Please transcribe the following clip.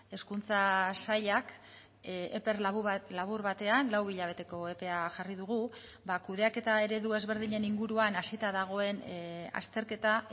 hezkuntza sailak epe labur batean lau hilabeteko epea jarri dugu ba kudeaketa eredu ezberdinen inguruan hasita dagoen azterketa